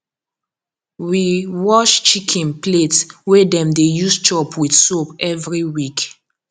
we wash chicken plate wey dem dey use chop with soap every week